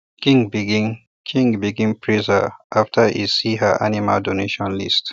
king begin king begin praise her after e see her animal donation list